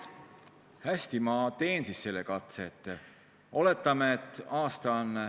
Hästi, ma teen selle katse.